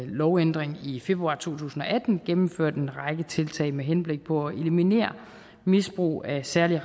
lovændring i februar to tusind og atten gennemført en række tiltag med henblik på at eliminere misbrug af særlig